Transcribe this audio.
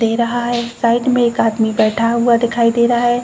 दे रहा है. साइड में एक आदमी बेठा हुआ दिखाई दे रहा है।